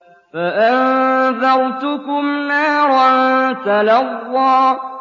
فَأَنذَرْتُكُمْ نَارًا تَلَظَّىٰ